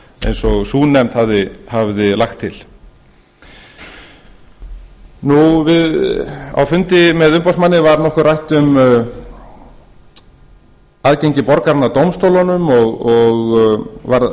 eins og sú nefnd hafði lagt til á fundi með umboðsmanni var nokkuð rætt um aðgengi borgaranna að dómstólunum